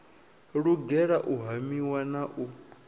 lugela u hamiwa na u